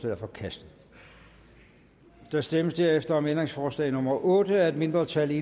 er forkastet der stemmes derefter om ændringsforslag nummer otte af et mindretal